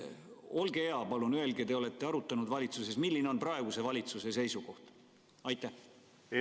Olge hea, palun öelge – te olete ju arutanud valitsuses –, milline on praeguse valitsuse seisukoht!